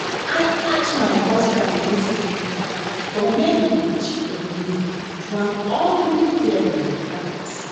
I catch my husband yesterday for where he dey cheat on me with one ugly girl like dat